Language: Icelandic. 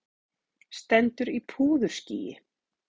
Stendur í púðurskýi.